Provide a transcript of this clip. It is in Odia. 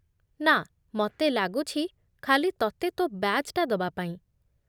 ନା, ମତେ ଲାଗୁଛି ଖାଲି ତତେ ତୋ' ବ୍ୟାଜ୍‌‌ଟା ଦବା ପାଇଁ ।